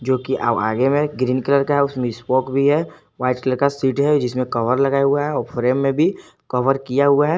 जोकि green colour का उसमें स्पोक भी है वाइट कलर का सीट है जिसमे कभर लगा हुआ है और फ्रेम में भी कवर किया हुआ है।